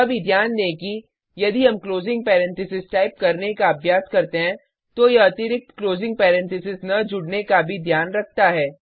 यह भी ध्यान दें कि यदि हम क्लोजिंग पैरेंथेसिस टाइप करने का अभ्यास करते हैं तो यह अतिरिक्त क्लोजिंग पैरेंथेसिस न जुड़ने का भी ध्यान रखता है